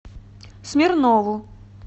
смирнову